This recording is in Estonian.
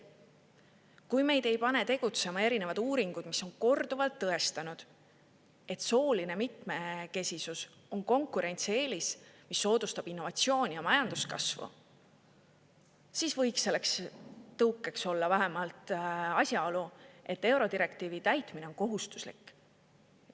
Kui meid ei pane tegutsema erinevad uuringud, mis on korduvalt tõestanud, et sooline mitmekesisus on konkurentsieelis, mis soodustab innovatsiooni ja majanduskasvu, siis võiks selleks tõukeks olla vähemalt asjaolu, et eurodirektiivi täitmine on kohustuslik.